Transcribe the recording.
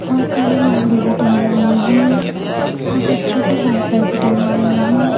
और काली मेहंदी भी टंगी हुई है और बच्चों के डायपर भीं टंगे हुए है।